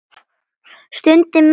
Stund milli stríða.